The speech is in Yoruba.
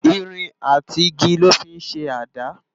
Irin àtí igi lò fi n ṣé àdá